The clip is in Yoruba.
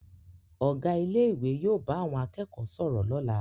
Ọ̀gá ilé ìwé yóò bá àwọn akẹ́kọ̀ọ́ sọ̀rọ̀ lọ́la